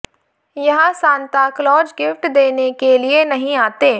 यहां Santa Claus gift देने के लिए नहीं आते